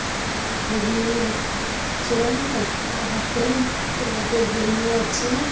সেখানে ঘুগনি বিক্রি হচ্ছে-এ। একজনের হাতে-এ প্লেট -এ ঘুগনি আছে।